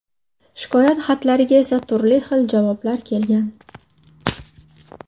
Shikoyat xatlariga esa turli xil javoblar kelgan.